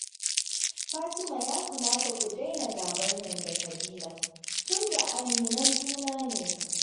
Fatima ya kamata ku daina gabar nan da Fadila, tunda aminan juna ne ku